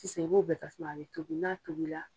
Sisan u b'o tasuma a bɛ tobi n'a tobi la.